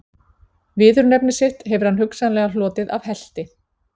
Viðurnefni sitt hefur hann hugsanlega hlotið af helti.